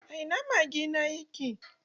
A ina mage na yake?